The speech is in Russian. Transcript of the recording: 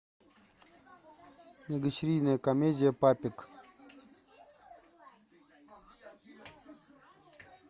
многосерийная комедия папик